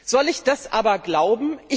Soll ich das aber glauben?